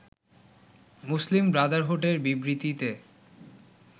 মুসলিম ব্রাদারহুডের বিবৃতিতে